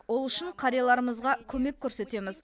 ол үшін қарияларымызға көмек көрсетеміз